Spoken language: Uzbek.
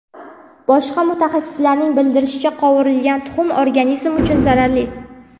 Boshqa mutaxassislarning bildirishicha, qovurilgan tuxum organizm uchun zararli.